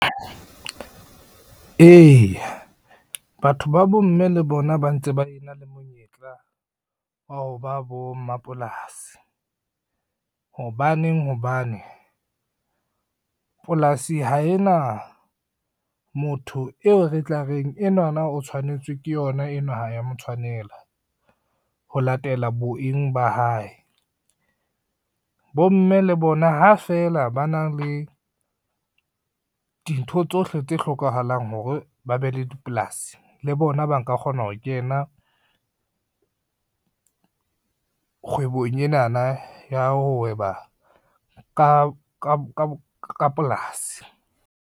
Eya batho ba bomme le bona ba ntse ba e na le monyetla wa ho ba bommapolasi. Hobaneng hobane, polasi ha e na motho eo re tla reng enwana o tshwanetse ke yona enwa ha ya motshwanela ho latela boteng ba hae. Bomme le bona ha fela ba na le, di ntho tsohle tse hlokahalang hore ba be le dipolasi le bona ba nka kgona ho kena kgwebong enana ya ho hweba ka polasi.